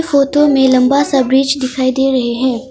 Photo में लंबा सा ब्रिज दिखाई दे रहे है।